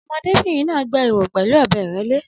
Ọmọdébìnrin náà gbẹ́ ihò pẹ̀lú ọ̀bẹ ìrẹ́lẹ́